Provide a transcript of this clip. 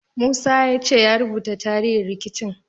Musa ya ce ya rubuta tarihin rikicin.